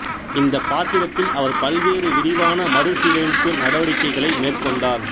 இந்த பாத்திரத்தில் அவர் பல்வேறு விரிவான மறுசீரமைப்பு நடவடிக்கைகளை மேற்கொண்டார்